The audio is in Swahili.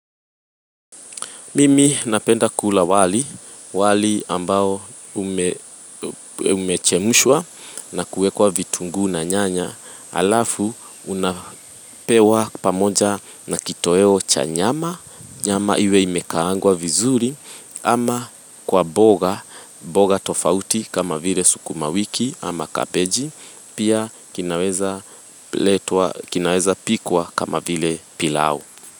Mimi napenda kula wali ambao umechemshwa na kuwekwa vitunguu na nyanya alafu unapewa pamoja na kitoweo cha nyama, nyama iwe imekaangwa vizuri ama kwa mboga tofauti kama vile sukuma wiki ama kabeji pia kinawezapikwa kama vile pilau.